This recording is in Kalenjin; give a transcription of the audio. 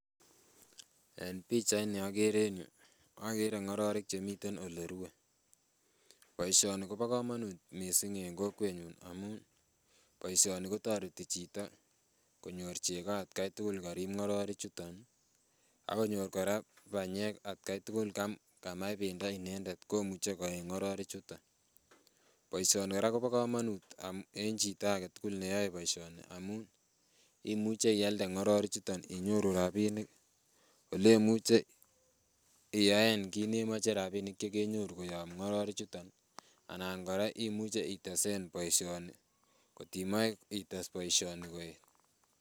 En pichait ni okere en yuu okere ng'ororik chemiten olerue, boisioni kobo komonut missing en kokwetnyun amun boisioni kotoreti chito konyor chego atkai tugul korip ng'ororik chuton ih akonyor kora banyek atkai tugul kamach bendo inendet komuche koeny ng'ororik chuton. Boisioni kora kobo komonut en chito aketugul neyoe boisioni amun imuche ialde ng'ororik chuton inyoru rapinik olemuche iyaen kit nemoche rapinik chekenyoru koyob ng'ororik chuton ih anan kora imuche itesen boisioni kot imoe ites boisioni koeet.